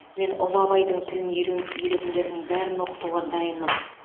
мен ұлы абайдың тілін үйренгісі келетіндердің бәрін оқытуға дайынмын